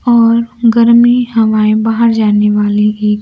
और गर्मी हवाएं बाहर जाने वाली ही--